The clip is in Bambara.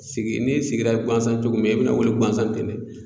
Sigi n'i sigira guansan cogo min na i bɛna wili guansan ten.